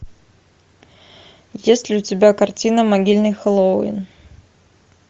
есть ли у тебя картина могильный хэллоуин